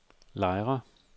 Lejre